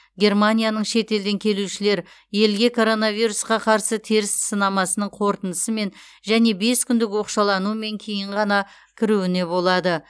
германияның шетелден келушілер елге коронавирусқа қарсы теріс сынамасының қорытындысымен және бес күндік оқшаланумен кейін ғана кіруіне болады